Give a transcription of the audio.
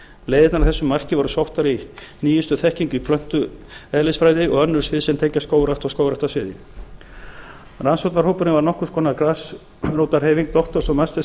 leiðirnar að þessu marki voru sóttar í nýjustu þekkingu í plöntulífeðlisfræði og önnur svið sem tengjast skógrækt og skógræktarsviði rannsóknarhópurinn var nokkurs konar grasrótarhreyfing doktors og meistaranema